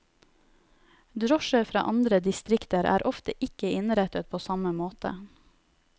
Drosjer fra andre distrikter er ofte ikke innrettet på samme måte.